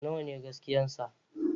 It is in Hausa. Nawa ne gaskiya sa